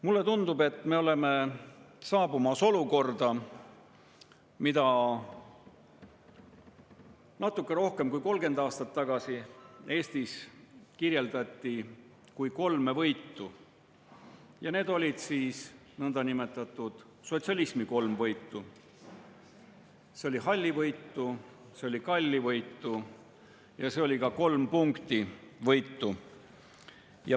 Mulle tundub, et me oleme jõudmas olukorda, mida natuke rohkem kui 30 aastat tagasi Eestis kirjeldati kui kolme võitu, need olid siis nõndanimetatud sotsialismi kolm võitu: see oli hallivõitu, see oli kallivõitu ja see oli ka …võitu.